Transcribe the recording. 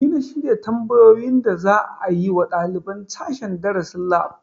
Ni na shirya tambayoyin da za a yi wa ɗaliban sashen darasin lab